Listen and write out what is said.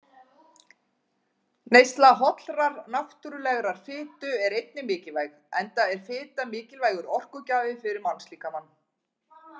Neysla hollrar, náttúrulegrar fitu er einnig mikilvæg, enda er fita mikilvægur orkugjafi fyrir mannslíkamann.